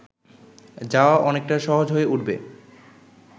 যাওয়া অনেকটা সহজ হয়ে উঠবে